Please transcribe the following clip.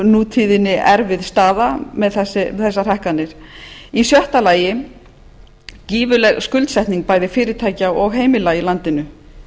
nútíðinni erfið staða með þessar hækkanir í sjötta lagi gífurleg skuldsetning bæði fyrirtækja og heimila í landinu